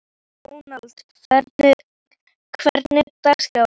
Dónald, hvernig er dagskráin?